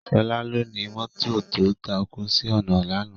Sola lóni mòtó tó tákú si òná làná